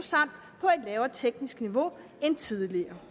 og på lavere teknisk niveau end tidligere